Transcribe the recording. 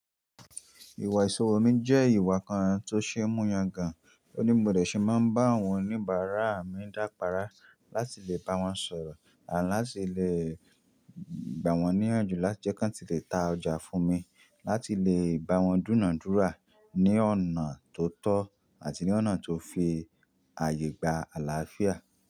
Ìwà ìṣòro mi jẹ́ ìwà kan tó ṣe é mú yangàn. Oní bi mọ̀ de ṣe máa ń bá àwọn oníbàárà mi dápará láti lè bá wọn sọ̀rọ̀ àti láti lè gbà wọ́n níyànjú láti jẹ́ kí wọ́n ti lè ta ọjà fún mi, láti lè bá wọn dúna dúra ní ọ̀nà tó tọ́ àti ní ọ̀nà tó fi àyè gba àlàáfíà.